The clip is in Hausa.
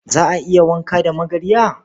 Za a iya wanka da magarya?